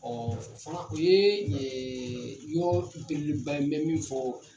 o fana, o ye yɔrɔbelebeleba ye n mɛ min fɔ